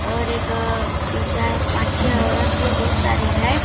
और एक तीन चार पाँच छह औरत भी है बहुत सारी है।